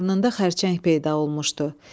Qarnında xərçəng peyda olmuşdu.